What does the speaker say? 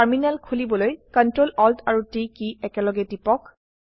terminal খুলিবলৈ CTRL Alt আৰু T key একেলগে টিপক